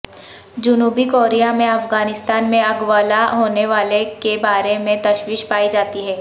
جنوبی کوریا میں افغانستان میں اغوالا ہونے والے کے بارے میں تشویش پائی جاتی ہے